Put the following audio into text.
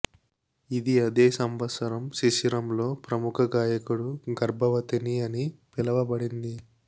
ఇది అదే సంవత్సరం శిశిరం లో ప్రముఖ గాయకుడు గర్భవతిని అని పిలవబడింది